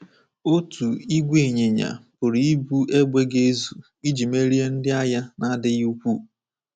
Otu ìgwè ịnyịnya pụrụ ibu égbè ga-ezu iji merie ndị agha na-adịghị ukwuu.